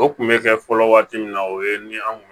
O kun bɛ kɛ fɔlɔ waati min na o ye ni an kun